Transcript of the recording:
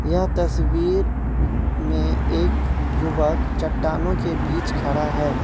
यह तस्वीर में एक युवक चट्टानों के बीच खड़ा है।